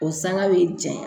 O sanga bɛ jaɲa